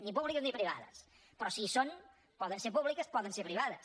ni públiques ni privades però si hi són poden ser públiques poden ser privades